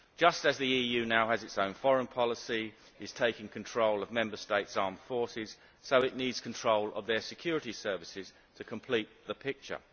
Just as the EU now has its own foreign policy and is taking control of Member States' armed forces, so it needs control of their security services to complete the picture.